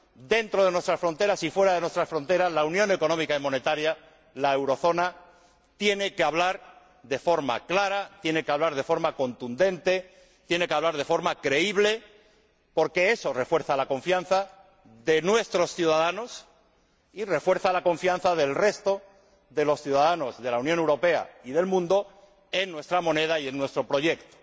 Dentro de nuestras fronteras y fuera de nuestras fronteras, la Unión Económica y Monetaria, la eurozona, tiene que hablar de forma clara, tiene que hablar de forma contundente, tiene que hablar de forma creíble, porque eso refuerza la confianza de nuestros ciudadanos y refuerza la confianza del resto de los ciudadanos de la Unión Europea y del mundo en nuestra moneda y en nuestro proyecto,